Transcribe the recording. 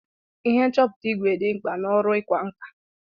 Ihe nchọpụta ìgwè dị mkpa n'ọrụ ịkwa nkà.